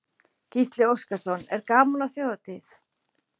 Gísli Óskarsson: Er gaman á þjóðhátíð?